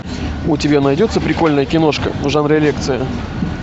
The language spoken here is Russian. у тебя найдется прикольная киношка в жанре лекция